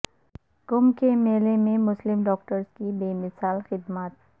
کنبھ کے میلہ میں مسلم ڈاکٹرس کی بے مثال خدمات